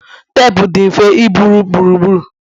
teepu dị mfe iburu gburugburu